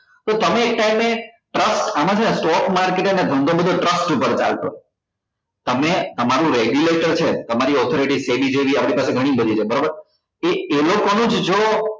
તો તમે એક time એ trust આમાં છે ને stock market નો ધંધો બધો trust પર ચાલતો હોય તમે તમારું regulation છે તમારી orthoraty આપડી પાસે ગણી બધી છે બરોબર એ એનો જોવો